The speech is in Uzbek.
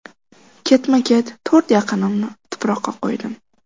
Ketma-ket to‘rt yaqinimni tuproqqa qo‘ydim.